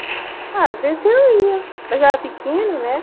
Ah às vezes eu ia, mas eu era pequena, né?